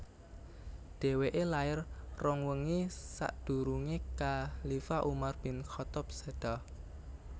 Dhèwèké lair rong wengi sakdurungé khalifah Umar bin Khaththab séda